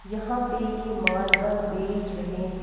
यहां पे ये मार्बल बेच रहे हैं.